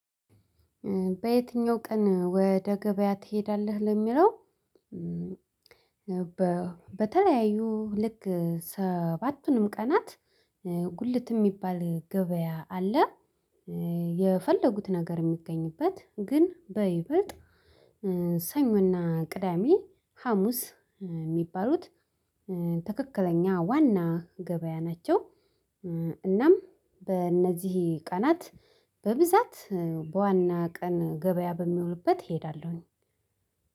በየትኛው ቀን ወደ ገበያ ትሄዳለህ? ለሚለው በተለያዩ ልክ ሰባቱንም ቀናት ጉልት የሚባል ገበያ አለ፤ የፈለጉት ነገር የሚገኝበት ግን በይበልጥ ሰኞና ቅዳሜ ሀሙስ የሚባሉት ትክክለኛ ዋና ገበያ ናቸው፤ እናም በእነዚህ ቀናት በብዛት በዋና ቀን ገበያ በሚሆንበት እሄዳለሁኝ፤